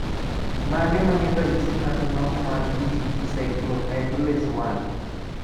Mage magin ranyisi mag nok mar GTP cyclohydrolase I?